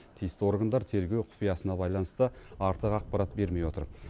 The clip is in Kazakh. тиісті органдар тергеу құпиясына байланысты артық ақпарат бермей отыр